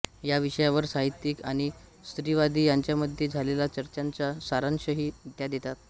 या विषयावर साहित्यिक आणि स्त्रीवादी यांच्यामध्ये झालेल्या चर्चांचा सारांशही त्या देतात